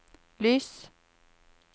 lys